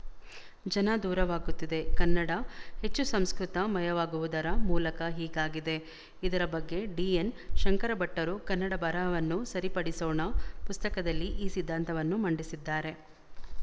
ಜನದೂರವಾಗುತ್ತಿದೆ ಕನ್ನಡ ಹೆಚ್ಚು ಸಂಸ್ಕೃತ ಮಯವಾಗುವುದರ ಮೂಲಕ ಹೀಗಾಗಿದೆ ಇದರ ಬಗ್ಗೆ ಡಿಎನ್ ಶಂಕರಭಟ್ಟರು ಕನ್ನಡ ಬರಹವನ್ನು ಸರಿಪಡಿಸೋಣ ಪುಸ್ತಕದಲ್ಲಿ ಈ ಸಿದ್ಧಾಂತವನ್ನು ಮಂಡಿಸಿದ್ದಾರೆ